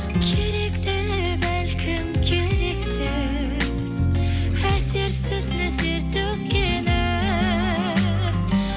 керек те бәлкім керексіз әсерсіз нөсер төккені